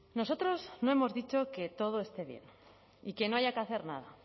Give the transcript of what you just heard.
nosotros no hemos dicho que todo esté bien y que no haya que hacer nada